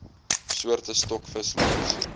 soorte stokvis langs